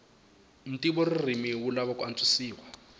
ntivoririmi wu lava ku antswisiwa